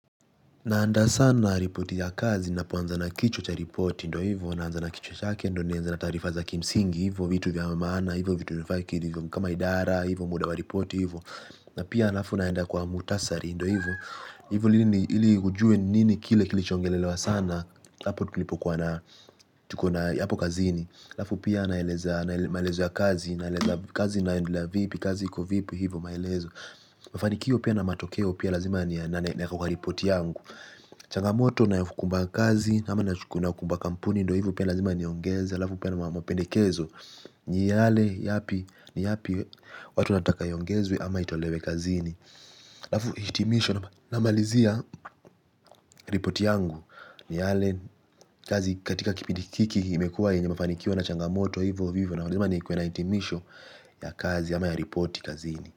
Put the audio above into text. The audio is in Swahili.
Naanda sana na ripoti ya kazi napoanza na kichwa cha ripoti ndo hivo naanza na kichwa chake ndo nianze na taarifa za kimsingi hivo vitu vya maana hivo vitu vya hivo kama idara hivo muda wa ripoti hivo na pia alafu naenda kwa muhtasari ndo hivo ili ujue ni nini kile kilichoongelelewa sana hapo tulipokuwa na tuko na hapo kazini alafu pia naeleza namaliza kazi naeleza kazi inaendelea vipi kazi iko vipi hapo maelezo mafanikio pia na matokeo pia lazima changamoto inayokumba kazi na ama inayokumba kampuni ndo hivo pia lazima niongeze alafu pia na mapendekezo ni yale yapi ni yapi watu wanataka iongezwe ama itolewe kazini alafu hitimisho namalizia ripoti yangu ni yale kazi katika kipindi hiki imekuwa yenye mafanikio na changamoto vivo hivo na lazima nikuwe na hitimisho ya kazi ama ya ripoti kazini.